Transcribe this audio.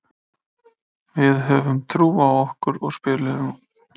Við höfðum trú á okkur og spiluðum góðan leik.